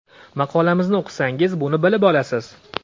Maqolamizni o‘qisangiz buni bilib olasiz!